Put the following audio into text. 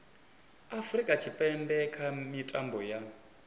afurika tshipembe kha mitambo ya